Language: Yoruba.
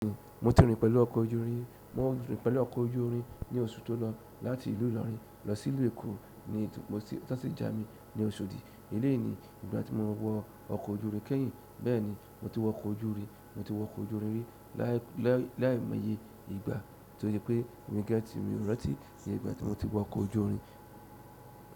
Mo ti rìn pẹ̀lú ọkọ̀ ojú irin. Mo rìn pẹ̀lú ọkọ̀ ojú irin ní oṣù tó lọ láti ìlú Ìlọrin lọ sí ìlú Èkó ní títún mo tún sì jà mí ní Oṣòdì. Bẹ́ẹ̀ní, ìgbà tí mo wọ ọkọ̀ ojú irin kẹ́yìn, bẹ́ẹ̀ni, mo ti wọ ọkọ̀ ojú irin. Mo ti wọ ọkọ̀ ojú irin rí láì méye ìgbà torí pé mi gẹ́tì mi rọ́tì ní ìgbà tí mo ti wọ ọkọ̀ ojú irin.